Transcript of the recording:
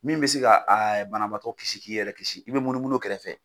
Min bɛ se ka a banabaatɔ kisi k'i yɛrɛ kisi i bɛ munumunu o kɛrɛfɛ.